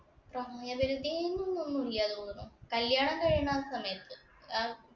പ്രായപരിധി ഒന്നുമില്ലാന്ന് തോന്നണു. കല്യാണം കഴിയണ ആ സമയത്ത്. ആഹ്